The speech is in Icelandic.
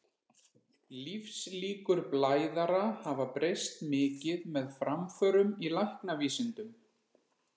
Lífslíkur blæðara hafa breyst mikið með framförum í læknavísindum.